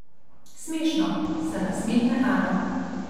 Smešno, se nasmehne Ana.